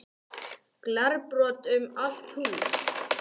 Glerbrot um allt húsið